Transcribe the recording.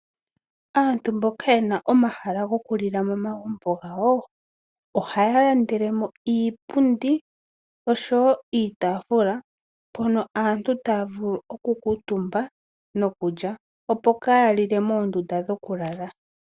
Aantu mboka yena omahala gokulila momagumbo gawo ohaya landele mo iipundi oshowo iitafula, mpono aantu ta ya vulu okukuutumba nokulya. Opo kaaya lile moondunda dhokulala.